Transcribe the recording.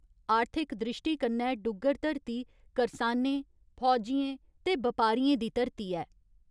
आर्थिक द्रिश्टी कन्नै डुग्गर धरती करसानें, फौजियें ते बपारियें दी धरती ऐ।